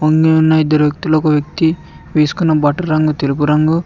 ఇందులో ఉన్న ఇద్దరు వ్యక్తులు ఒక వ్యక్తి వేసుకున్న బట్టరంగు తెలుగు రంగు